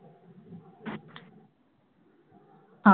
ਹਾਂ